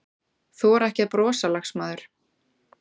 Þora ekki að brosa, lagsmaður.